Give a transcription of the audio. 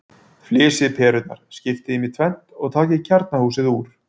Flysjið perurnar, skiptið þeim í tvennt og takið kjarnahúsið úr.